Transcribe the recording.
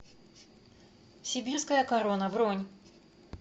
сибирская корона бронь